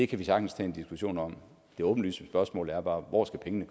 kan vi sagtens tage en diskussion om det åbenlyse spørgsmål er bare hvor skal pengene